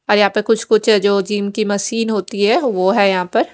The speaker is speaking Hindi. और यहाँ पर कुछ कुछ जो जिम की मशीन होती है वो है यहाँ पर--